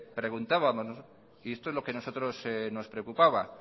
preguntábamos y esto es lo que nosotros nos preocupaba